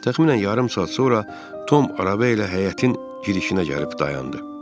Təxminən yarım saat sonra Tom araba ilə həyətin girişinə gəlib dayandı.